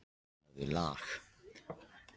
Filippa, spilaðu lag.